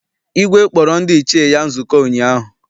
Igwe kpọrọ ndị Ichie ya nzukọ ụnyaahụ.